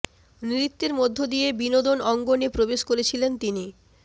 নৃত্যের মধ্য দিয়ে বিনোদন অঙ্গনে প্রবেশ করেছিলেন তিনি